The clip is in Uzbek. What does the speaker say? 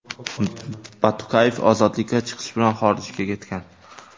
Batukayev ozodlikka chiqish bilan xorijga ketgan.